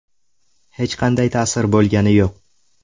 Hech qanday ta’sir bo‘lgani yo‘q.